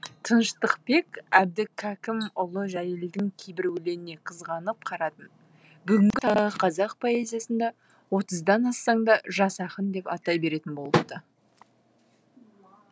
тыныштықбек әбдікәкімұлыжәлелдің кейбір өлеңіне қызғанып қарадым бүгінгі қазақ поэзиясында отыздан ассаң да жас ақын деп атай беретін болыпты